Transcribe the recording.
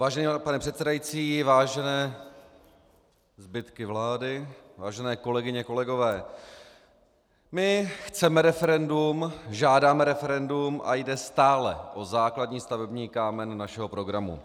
Vážený pane předsedající, vážené zbytky vlády , vážené kolegyně, kolegové, my chceme referendum, žádáme referendum a jde stále o základní stavební kámen našeho programu.